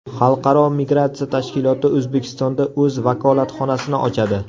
Xalqaro migratsiya tashkiloti O‘zbekistonda o‘z vakolatxonasini ochadi.